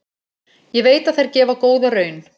Ég veit að þær gefa góða raun.